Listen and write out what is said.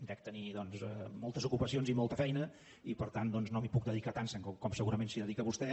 dec tenir doncs moltes ocupacions i molta feina i per tant doncs no m’hi puc dedicar tant com segurament s’hi dedica vostè